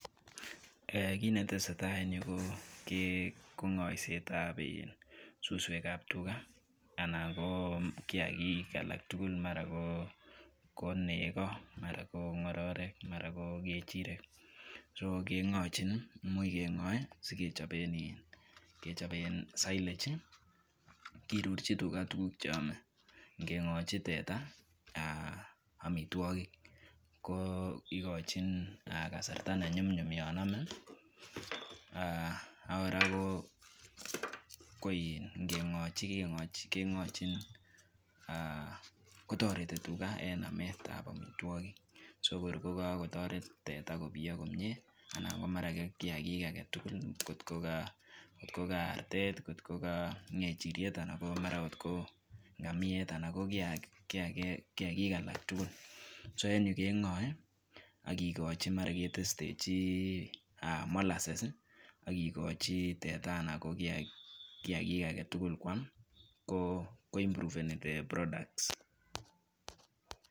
Kit netesetai en yu ko ngoisetab suswek ab tugaa alan ko kiyaagik alak tugul. Mara ko nekoo alan ko ngororek alan ko ngechirek.so kengochin imuch kengoe sikechoben silage kirurchi tugaa tuguk chrome. Ingengochi teta amitwogik ko ikochin kasarta nenyumnyum yon ome. Akora ko in ko ingengochi kengochin kotoretiii tugaa en ametab amitwogik. Soko kokotoret tera kobiyoo komie ana ko kiyaagik alaktugul ko ko ka artet kot Ko ngechiriet anan mara or ko ngamiet anna ko kiyaagik alaktugul. Soen yu kengoe ak kikochi mara ketestechi molasses ak kikochi teta ana ko kiyaagik agetugul koam ko improveni the products.